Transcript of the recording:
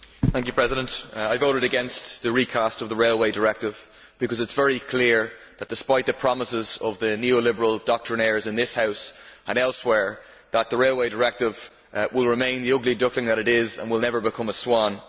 Mr President, I voted against the recast of the Railway Directive because it is very clear that, despite the promises of the neo Liberal doctrinaires in this House and elsewhere, the Railway Directive will remain the ugly duckling that it is and will never become a swan.